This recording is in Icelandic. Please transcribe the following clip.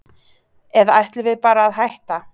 Eða ætlum við bara að hætta?